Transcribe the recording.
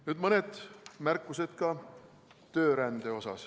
Nüüd mõned märkused ka töörände kohta.